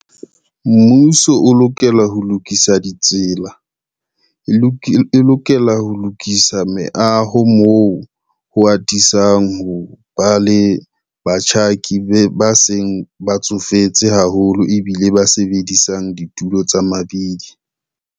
Mmuso o lokela ho lokisa ditsela, e lokela ho lokisa meaho moo ho atisang ho ba le batjhaki ba seng ba tsofetse haholo ebile ba sebedisang ditulo tsa mabidi.